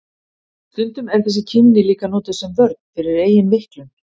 Stundum er þessi kímni líka notuð sem vörn fyrir eigin veiklun.